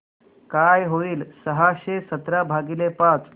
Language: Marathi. काय होईल सहाशे सतरा भागीले पाच